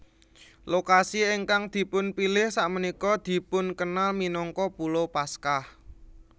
Lokasi ingkang dipunpilih sakmenika dipunkenal minangka Pulo Paskah